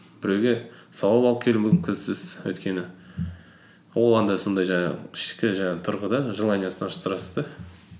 біреуге сауап алып келу мүмкінсіз өйткені ол андай сондай жаңағы ішкі жаңағы тұрғы да желаниясын ашып тұрасыз да